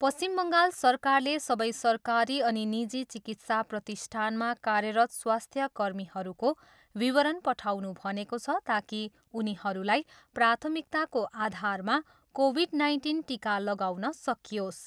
पश्चिम बङ्गाल सरकारले सबै सरकारी अनि निजी चिकित्सा प्रतिष्ठानमा कार्यरत स्वास्थ्य कर्मीहरूको विवरण पठाउनु भनेको छ ताकि उनीहरूलाई प्राथमिकताको आधारमा कोभिड नाइन्टिन टिका लगाउन सकियोस्।